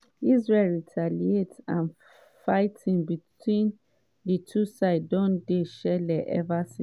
israel retaliate and fighting between di two sides don dey shele ever since.